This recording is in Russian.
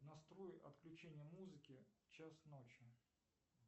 настрой отключение музыки в час ночи